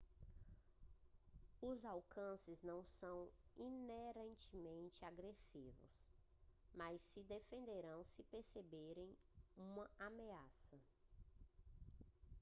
os alces não são inerentemente agressivos mas se defenderão se perceberem uma ameaça